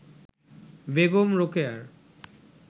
Begum রোকেয়ার